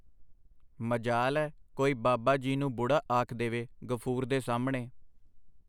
ਮਜਾਲ ਐ ਕੋਈ ਬਾਬਾ ਜੀ ਨੂੰ ਬੁੜ੍ਹਾ ਆਖ ਦੇਵੇ ਗ਼ਫੂੁਰ ਦੇ ਸਾਹਮਣੇ.